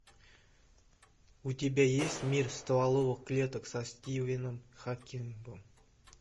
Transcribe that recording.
у тебя есть мир стволовых клеток со стивеном хокингом